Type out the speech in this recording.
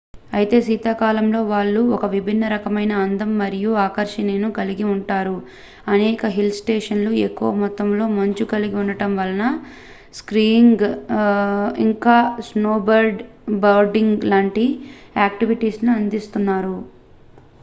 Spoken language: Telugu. అయితే శీతాకాలంలో వాళ్ళు ఒక విభిన్న రకమైన అందం మరియు ఆకర్షణను కలిగి ఉంటారు అనేక హిల్ స్టేషన్లు ఎక్కువ మొత్తాలో మంచు కలిగి ఉండటం వలన స్కీయింగ్ ఇంకా స్నోబోర్డింగ్ లాంటి యాక్టివిటీలని అందిస్తున్నారు